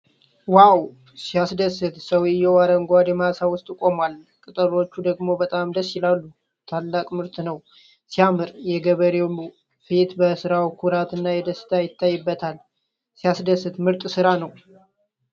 ዋው! ሲያስደስት! ሰውዬው አረንጓዴ ማሳ ውስጥ ቆሟል፤ ቅጠሎቹ ደግሞ በጣም ደስ ይላሉ። ታላቅ ምርት ነው! ሲያምር! የገበሬው ፊት በስራው ኩራት እና ደስታ ይታይበታል። ሲያስደስት! ምርጥ ስራ!